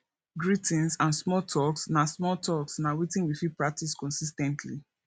greetings and small talks na small talks na wetin we fit practice consis ten tly